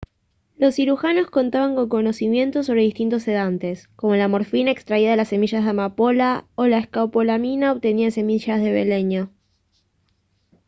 los cirujanos contaban con conocimientos sobre distintos sedantes como la morfina extraída de las semillas de amapola o la escopolamina obtenida de semillas de beleño